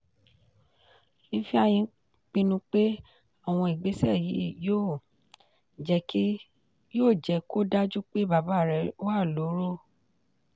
ifeanyi pinnu pé àwọn ìgbésẹ yìí yóò jẹ́ kó dájú pé bàbá rẹ̀ wà lóró.